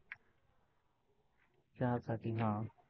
चहा साठी हा.